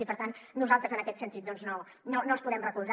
i per tant nosaltres en aquest sentit doncs no els podem recolzar